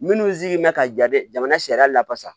Minnu sigi mɛ ka ja dɛ jamana sariya la basa